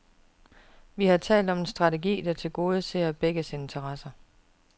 Vi har talt om en strategi, der tilgodeser begges interesser.